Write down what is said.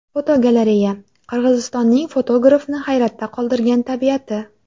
Fotogalereya: Qirg‘izistonning fotografni hayratda qoldirgan tabiati.